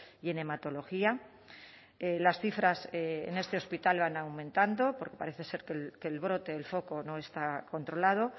y en hematología las cifras en este hospital van aumentando porque parece ser que el brote el foco no está controlado